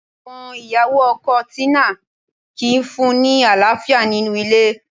Àwọn ìyàwó ọkọ Tina kìí fún-un ní àlàáfíà nínú ilé